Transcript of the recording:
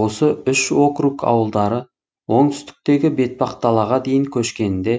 осы үш округ ауылдары оңтүстіктегі бетпақдалаға дейін көшкенінде